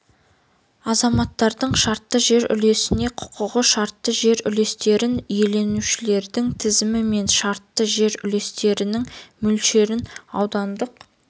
азаматтардың шартты жер үлесіне құқығы шартты жер үлестерін иеленушілердің тізім мен шартты жер үлестерінің мөлшерін аудандық